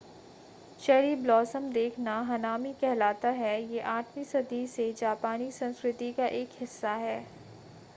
cherry blossom देखना hanami कहलाता है ये 8वीं सदी से जापानी संस्कृति का एक हिस्सा है